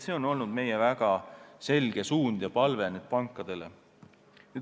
See on olnud meie väga selge palve pankadele.